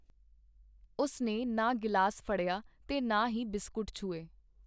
ਉਸ ਨੇ ਨਾ ਗਿਲਾਸ ਫੜਿਆ ਤੇ ਨਾ ਹੀ ਬਿਸਕੁਟ ਛੂਹੇ.